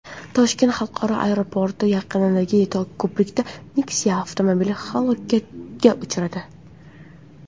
Toshkent xalqaro aeroporti yaqinidagi ko‘prikda Nexia avtomobili halokatga uchradi.